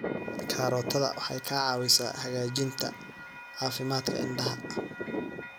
Karootada waxay ka caawisaa hagaajinta caafimaadka indhaha.